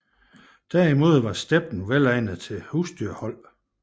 Der imod var steppen vel egnet til husdyrhold